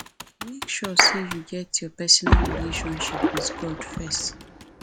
make sure say you get your personal relationship with god first